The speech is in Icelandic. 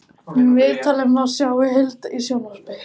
Viðtalið má sjá í heild í sjónvarp